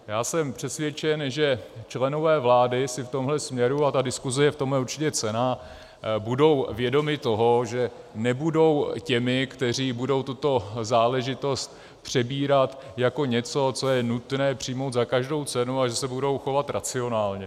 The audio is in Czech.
Já jsem přesvědčen, že členové vlády si v tomhle směru - a ta diskuze je v tomhle určitě cenná - budou vědomi toho, že nebudou těmi, kteří budou tuto záležitost přebírat jako něco, co je nutné přijmout za každou cenu, a že se budou chovat racionálně.